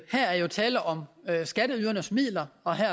her er jo tale om skatteydernes midler og her